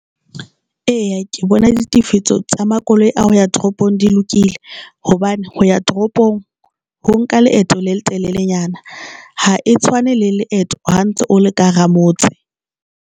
Eya, ke bona le tifiso tsa makoloi a ho ya toropong di lokile hobane ho ya toropong ho nka leeto le letelelenyana ha e tshwane le leeto ha o o ntse o le ka hara motse.